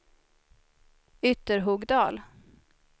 Ytterhogdal